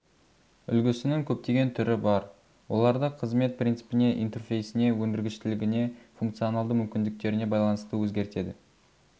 үлгісінің көптеген түрі бар оларды қызмет принципіне интерфейсіне өндіргіштігіне функционалды мүмкіндіктеріне байланысты өзгертеді